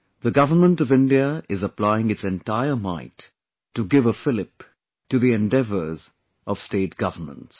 The Government of India is applying its entire might to give a fillip to the endeavours of State Governments